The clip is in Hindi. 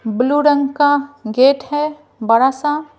ब्लू रंग का गेट है बड़ा सा--